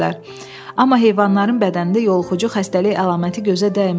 Amma heyvanların bədənində yoluxucu xəstəlik əlaməti gözə dəymirdi.